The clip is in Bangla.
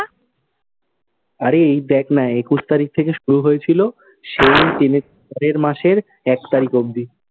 আরে এই দেখ না, একুশ তারিখ থেকে শুরু হয়ে ছিলো, সেই টেনে মাসের এক তারিখ অবধি।